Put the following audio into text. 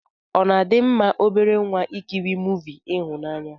Ọna adi mma obere nwa ikiri movi ihụnanya?